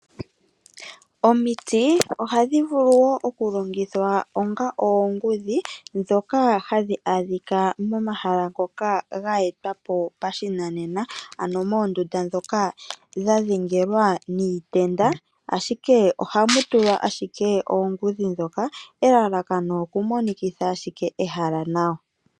Omiti ohadhi vulu woo oku longithwa onga oongudhi ndhoka hadhi adhika momahala ngoka ga etwapo pashinanena. Ano moondunda ndhoka dha dhengelwa niitenda ashike ohamutulwa ashike oongudhi ndhoka . Elalakano oku monikitha ashike ehala nawa.